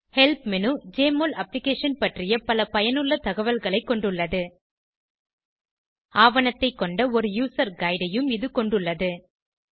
help menu JMOL application பற்றிய பல பயனுள்ள தகவல்களைக் கொண்டுள்ளது ஆவணத்தைக் கொண்ட ஒரு யூசர் கைடு பயனர் கையேடு ஐயும் இது கொண்டுள்ளது